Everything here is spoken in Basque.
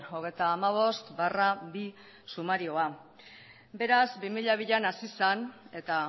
hogeita hamabost barra bi sumarioa beraz bi mila bian hasi zen eta